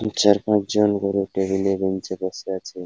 ই চার পাঁচজন বড় টেবিল -এ বেঞ্চ -এ বসে আছে ।